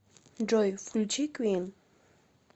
джой включи квин